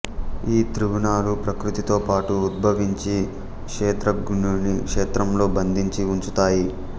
ఈ త్రిగుణాలు ప్రకృతితోపాటు ఉద్భవించి క్షేత్రజ్ఞుడిని క్షేత్రంలో బంధించి ఉంచుతాయి